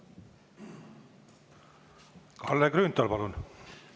Kalle Grünthal, palun!